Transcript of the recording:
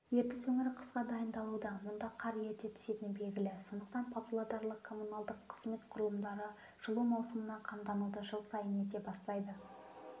ертіс өңірі қысқа дайындалуда мұнда қар ерте түсетіні белгілі сондықтан павлодарлық коммуналдық қызмет құрылымдары жылу маусымына қамдануды жыл сайын ерте бастайды